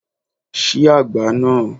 Ṣí agbá náà!